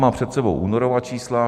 Mám před sebou únorová čísla.